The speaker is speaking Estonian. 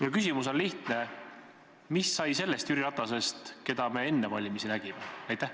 Ja küsimus on lihtne: mis sai sellest Jüri Ratasest, keda me enne valimisi nägime?